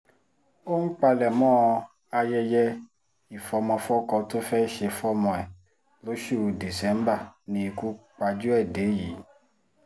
ó ń palẹ̀mọ́ ayẹyẹ ìfọ̀mọ̀fọ́kọ tó fẹ́ẹ́ ṣe fọ́mọ ẹ̀ lóṣù díṣẹ́bà ni ikú pajú ẹ̀ dé yìí